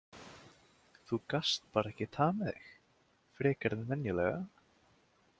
Þú gast bara ekki hamið þig, frekar en venjulega.